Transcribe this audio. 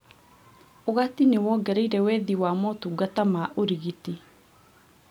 Ũgati nĩwongereire wethi wa motungata ma ũrigiti